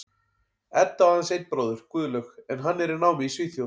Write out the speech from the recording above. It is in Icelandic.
Edda á aðeins einn bróður, Guðlaug, en hann er í námi í Svíþjóð.